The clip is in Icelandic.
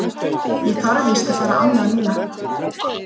Ég þarf víst að fara annað núna.